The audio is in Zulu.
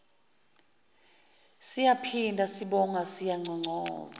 siyaphinda sibonga siyanconcoza